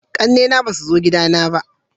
ƙanne na ba su zo gida na ba